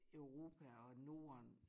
Europa og norden